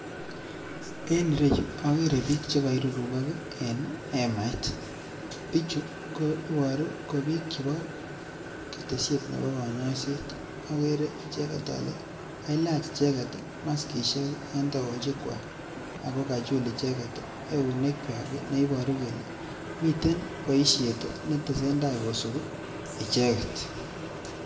En ireyu ogere bik che koirurukok en hemait, bichu koboruu ko bik chebo ketesyet nebo konyoeset ogere icheget ole ko kalach maskishek en tokochikywak ako kachul icheget eunekyak ne iboruu kelee miten boishet ne tesentai kosibi icheget